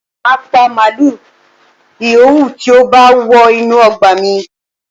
Màá pa màlúù yìówù tí ó bá wọ inú ọgbà mi